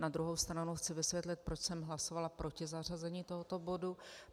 Na druhou stranu chci vysvětlit, proč jsem hlasovala proti zařazení tohoto bodu.